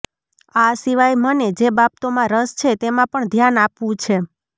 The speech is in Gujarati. આ સિવાય મને જે બાબતોમાં રસ છે તેમાં પણ ધ્યાન આપવું છે